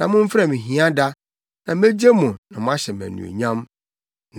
na momfrɛ me hiada; na megye mo na moahyɛ me anuonyam.”